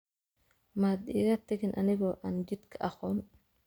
maad iga tagin anigoo aan jidka aqoon